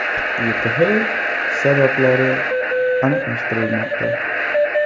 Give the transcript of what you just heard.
YTH sabablari aniqlashtirilmoqda.